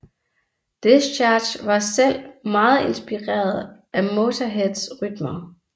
Discharge var selv meget inspireret af Motörheads rytmer